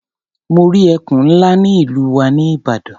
Mo rí ẹkùn ńlá ní ìlú wa ní Ìbàdàn.